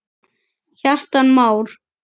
Kjartan Már.